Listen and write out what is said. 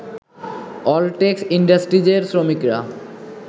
অলটেক্স ইন্ডাস্ট্রিজের শ্রমিকরা